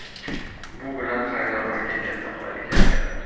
Bu bilan xaridorlarga katta qulaylik yaratiladi.